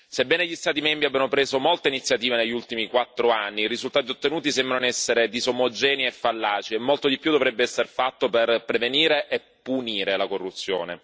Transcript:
Sebbene gli Stati membri abbiano preso molta iniziativa negli ultimi quattro anni, i risultati ottenuti sembrano essere disomogenei e fallaci, e molto di più dovrebbe esser fatto per prevenire e punire la corruzione.